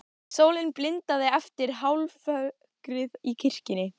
Sólin blindaði eftir hálfrökkrið í kirkjunni.